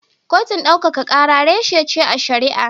Kotun daukaka kara reshe ce a shari'a.